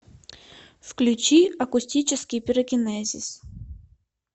включи акустический пирокинезис